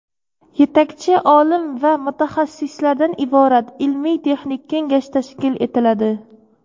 yetakchi olim va mutaxassislardan iborat ilmiy-texnik kengash tashkil etiladi.